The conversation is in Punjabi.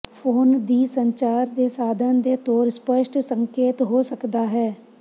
ਫੋਨ ਦੀ ਸੰਚਾਰ ਦੇ ਸਾਧਨ ਦੇ ਤੌਰ ਸਪੱਸ਼ਟ ਸੰਕੇਤ ਹੋ ਸਕਦਾ ਹੈ